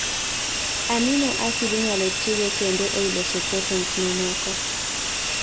amino acid inyalo tigo kendo ei loso proteins mamoko